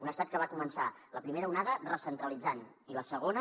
un estat que va començar la primera onada recentralitzant i la segona